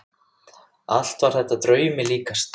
Allt var þetta draumi líkast.